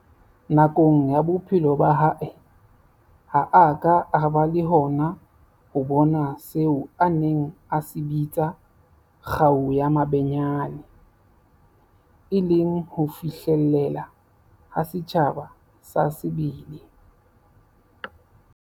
Nakong ya bophelo ba hae, ha a ka a ba le hona ho bona seo a neng a se bitsa 'kgau ya mabenyane', e leng ho fihlelleha ha setjhaba sa sebele.